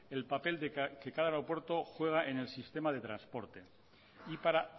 el papel que cada aeropuerto juega en el sistema de transporte y para